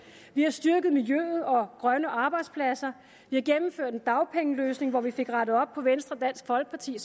vi har styrket miljøet og grønne arbejdspladser vi har gennemført en dagpengeløsning at vi fik rettet op på venstre dansk folkeparti